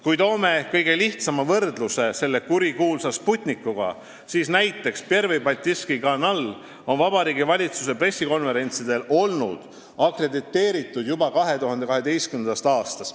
" Kui toome kõige lihtsama võrdluse selle kurikuulsa Sputnikuga, siis näiteks Pervõi Baltiiski Kanal on olnud Vabariigi Valitsuse pressikonverentsidele akrediteeritud juba 2012. aastast.